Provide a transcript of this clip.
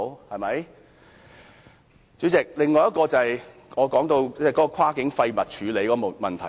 代理主席，另一點是跨境廢物處理的問題。